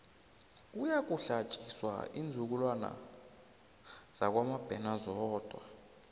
kuyokuhlatjiswa iinzukulwana zakwamabena zodwa